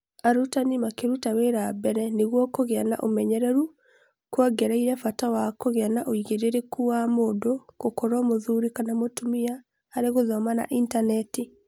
Arurani makĩruta wĩra mbere nĩguo kũgĩa na ũmenyeru kuongereire bata wa kũgĩa na ũigĩrĩrĩki wa mũndũ gũkorwo mũthuri kana mũtumia harĩ gũthoma na intaneti.